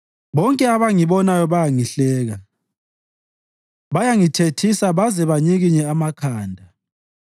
Bonke abangibonayo bayangihleka; bayangithethisa baze banyikinye amakhanda: